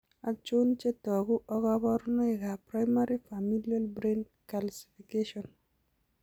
Achon chetogu ak kaborunoik ab primary Familial Brain Calcfication?